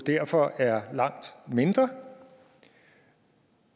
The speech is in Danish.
derfor er langt mindre